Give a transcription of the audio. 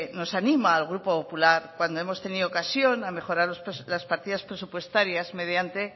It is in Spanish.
nos anima al grupo popular cuando hemos tenido ocasión de mejorar las partidas presupuestarias mediante